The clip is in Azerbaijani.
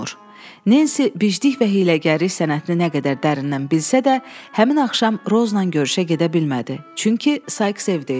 Nensi biclik və hiyləgəri sənətini nə qədər dərindən bilsə də, həmin axşam Rozla görüşə gedə bilmədi, çünki Sikes evdə idi.